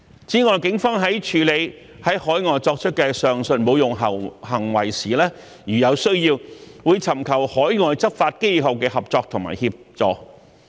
此外，警方在處理於海外作出的上述侮辱行為時，如有需要，會尋求海外執法機構的合作和協助。